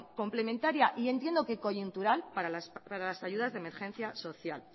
complementaria y entiendo que coyuntural para las ayudas de emergencia social